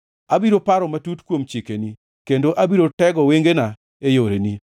Abiro paro matut kuom chikeni kendo abiro tego wengena e yoreni.